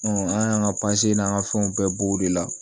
an y'an ka n'an ka fɛnw bɛɛ b'o de la